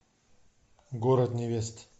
город невест